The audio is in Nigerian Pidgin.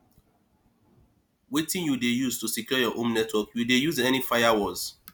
wetin you dey use to secure your home network you dey use any firewalls